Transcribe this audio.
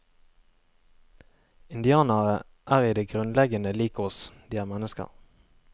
Indianere er i det grunnleggende lik oss, de er mennesker.